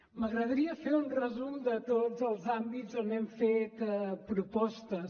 m’agradaria fer un resum de tots els àmbits on hem fet propostes